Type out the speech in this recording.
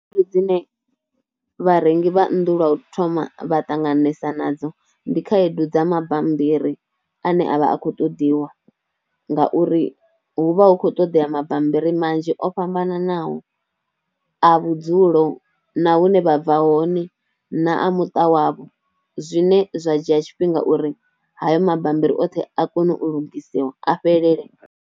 Khaedu dzine vharengi vha nnḓu lwa u thoma vha ṱanganesa nadzo ndi khaedu dza mabambiri ane avha a khou ṱoḓiwa ngauri, hu vha hu khou ṱoḓea mabambiri manzhi o o fhambananaho a vhudzulo, na hune vha bva hone, na a muṱa wavho, zwine zwa dzhia tshifhinga uri hayo mabammbiri oṱhe a kone u lugisiwa a fhelele.